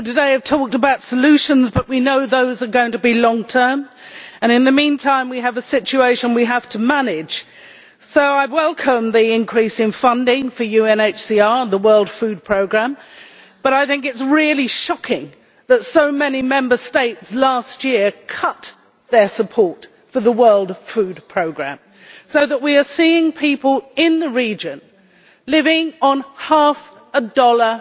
Mr President, many people today have talked about solutions, but we know those are going to be long term. In the meantime, we have a situation we have to manage. So I welcome the increase in funding for the UNHCR and the World Food Programme, but I think it is really shocking that so many Member States last year cut their support for the World Food Programme, so that we are seeing people in the region concerned living on half a dollar